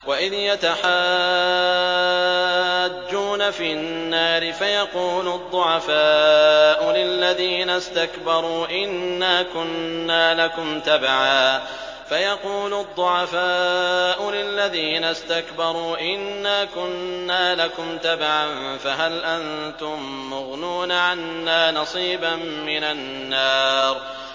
وَإِذْ يَتَحَاجُّونَ فِي النَّارِ فَيَقُولُ الضُّعَفَاءُ لِلَّذِينَ اسْتَكْبَرُوا إِنَّا كُنَّا لَكُمْ تَبَعًا فَهَلْ أَنتُم مُّغْنُونَ عَنَّا نَصِيبًا مِّنَ النَّارِ